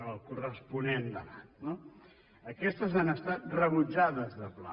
el corresponent debat no aquestes han estat rebutjades de pla